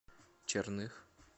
черных